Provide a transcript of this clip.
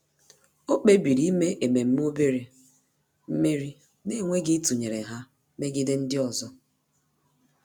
Ọ́ kpébìrì ímé ememe obere mmeri n’énwéghị́ ítụ́nyéré ha megide ndị ọzọ.